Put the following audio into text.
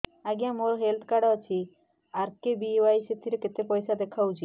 ଆଜ୍ଞା ମୋର health card ଅଛି ଆର୍.କେ.ବି.ୱାଇ ସେଥିରେ କେତେ ପଇସା ଦେଖଉଛି